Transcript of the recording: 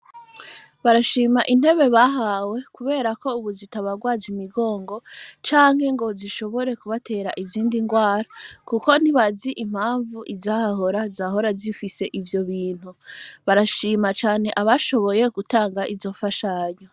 Barashima intebe, bahawe, kubera ko, ubu, zitabarwaza imigongo, canke ngo, zishobore kubatera, izindi ngwara; kuko ntibazi impamvu, izahahora, zahora zifise, ivyo bintu; barashima cane, abashoboye gutanga izo mfashanyo.